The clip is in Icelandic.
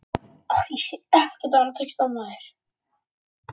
heyrðist laust borð sveiflast til.